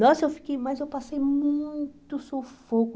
Nossa, eu fiquei, mas eu passei muito sufoco.